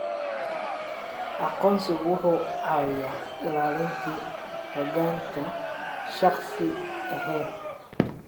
Aqoonsigu wuxuu caawiyaa ilaalinta xogta shakhsi ahaaneed.